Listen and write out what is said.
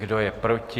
Kdo je proti?